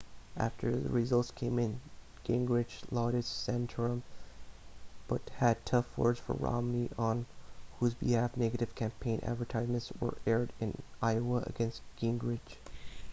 after the results came in gingrich lauded santorum but had tough words for romney on whose behalf negative campaign advertisements were aired in iowa against gingrich